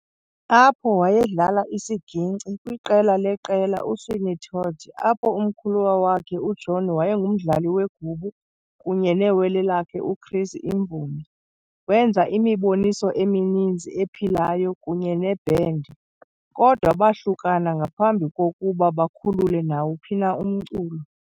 Apho wayedlala isiginkci kwiqela leqela uSweeney Todd, apho umkhuluwa wakhe uJohn wayengumdlali wegubu kunye newele lakhe uChris imvumi. Wenza imiboniso emininzi ephilayo kunye nebhendi, kodwa bahlukana ngaphambi kokuba bakhulule nawuphi na umculo.